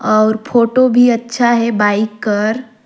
और फोटो भी अच्छा हे बाइक कर--